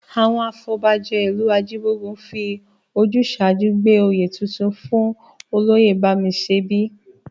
Àwọn afọbajẹ ìlú Ajíbógun fi ojúṣàájú gbé oyè Ọ̀tún fún Olóyè Bámiṣẹbí